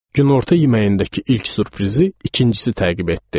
Günorta yeməyindəki ilk sürprizi ikincisi təqib etdi.